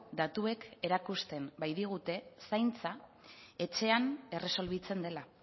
datuek erakusten baitigute zaintza etxean erresolbitzen dela